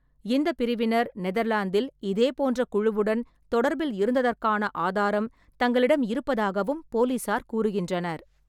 இந்த பிரிவினர் நெதர்லாந்தில் இதே போன்ற குழுவுடன் தொடர்பில் இருந்ததற்கான ஆதாரம் தங்களிடம் இருப்பதாகவும் போலீசார் கூறுகின்றனர்.